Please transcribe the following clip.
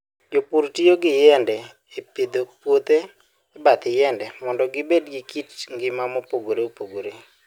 Jopur tiyo gi yiende e pidho puothe e bath yiende mondo gibed gi kit ngima mopogore opogore.